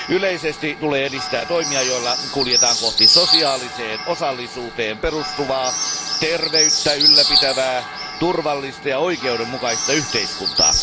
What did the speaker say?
Yleisesti tulee edistää toimia, joilla kuljetaan kohti sosiaaliseen osallisuuteen perustuvaa, terveyttä ylläpitävää, turvallista ja oikeudenmukaista yhteiskuntaa.